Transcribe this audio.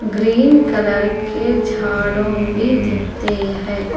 Green colour के झाड़ो भी दिखते हैं।